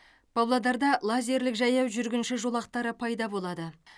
павлодарда лазерлік жаяу жүргінші жолақтары пайда болады